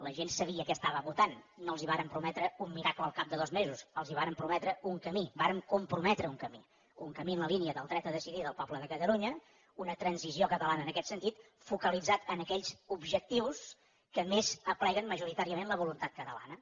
la gent sabia què estava votant no els vam prometre un miracle al cap de dos mesos els vàrem prometre un camí vàrem comprometre un camí un camí en la línia del dret a decidir del poble de catalunya una transició catalana en aquest sentit focalitzat en aquells objectius que més apleguen majoritàriament la voluntat catalana